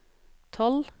tolv